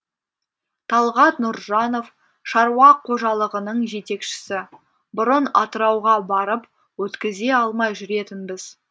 талғат нұржанов шаруа қожалығының жетекшісі бұрын атырауға барып өткізе алмай жүретінбіз